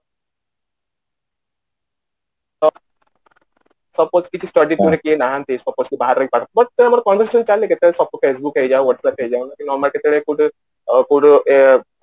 suppose କିଛି study ପାଇଁ କିଏ ନାହାନ୍ତି suppose କିଏ ବାହାରେ ରହିକି ପାଠ ପଢୁଛି